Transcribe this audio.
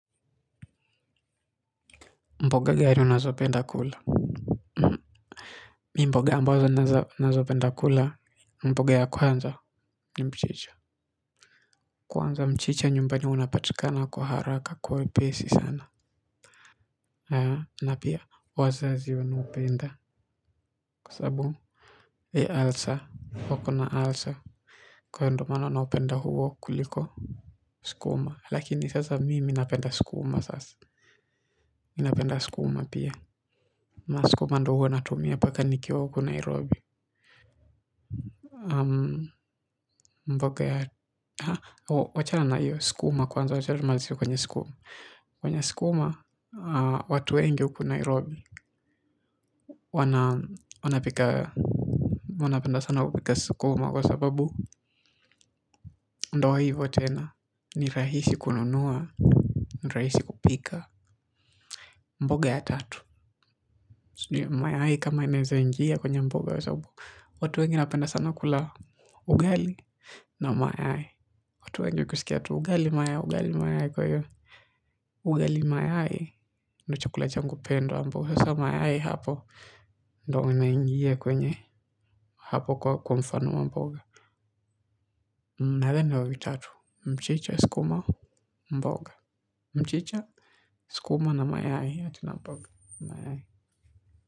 Mboga gani amabazo napenda kula mimi mboga ambazo nazopenda kula mboga ya kwanza ni mchisha. Kwanza mchicha nyumbani unapatikana kwa haraka kwa wepesi sana na pia wazazi wanaupenda kwa sababu ya ulcer wako na ulcer kwa hivyo ndio maana naupenda huo kuliko skuma lakini sasa mimi napenda skuma sasa ninapenda skuma pia na skuma ndio huwa natumia mpaka nikiwa huku Nairobi. Mboga ya wachana na hiyo skuma kwanza wachana tumalizie kwenye skuma. Kwenye skuma watu wengi huku nairobi. Wanapika. Wanapenda sana kupika skuma. Kwa sababu ndio hivo tena. Ni rahisi kununua. Rahisi kupika. Mboga ya tatu. Mayai kama inaweza njia kwenye mboga ya sababu watu wengi wanapenda sana kula ugali. Na mayai. Watu wengi kusikia tu ugali mayai ugali mayai kwa hiyo. Ugali mayai ni chakula changu. Sasa mayai hapo. Ndio inaingia kwenye hapo kwa mfano wa mboga. Nadhani wa vitatu. Mchicha skuma mboga. Mchicha skuma na mayai. Ati na mboga. Mayai.